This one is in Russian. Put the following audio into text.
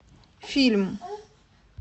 фильм